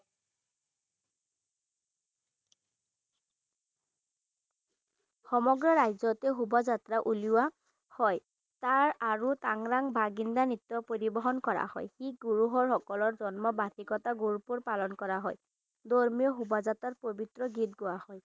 সমগ্ৰ ৰাজ্যতে সোভাযাত্ৰা উলিওৱা হয় তাৰ আৰু টাং ৰাং বাৰ্গিন্দা নৃত্য পৰিবহন কৰা হয় শিখ গুৰুহৰ সকলৰ জন্ম বাৰ্ষিকতাৰ গুৰুপূৰ পালন কৰা হয় ধৰ্মীয় সোভাযাত্ৰাৰ পবিত্ৰ গীত গোৱা হয়।